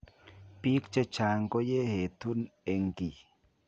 Biik chechang koyeetuun eng kii